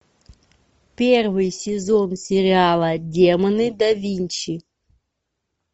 первый сезон сериала демоны да винчи